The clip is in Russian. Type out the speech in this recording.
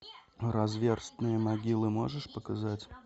разверстые могилы можешь показать